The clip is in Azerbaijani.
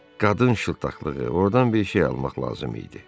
Qadın şıltıqlığı, ordan bir şey almaq lazım idi.